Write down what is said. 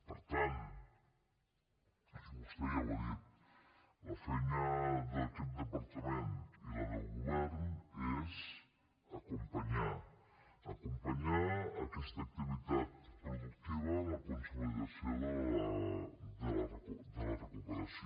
per tant i vostè ja ho ha dit la feina d’aquest departament i la del govern és acompanyar acompanyar aquesta activitat productiva en la consolidació de la recuperació